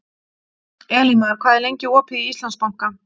Elímar, hvað er lengi opið í Íslandsbanka?